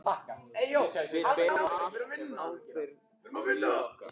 Við berum öll ábyrgð á lífi okkar.